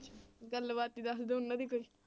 ਗੱਲਬਾਤ ਹੀ ਦੱਸ ਦਓ ਉਹਨਾਂ ਦੀ ਕੋਈ।